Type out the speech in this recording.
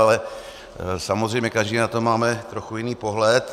Ale samozřejmě každý na to máme trochu jiný pohled.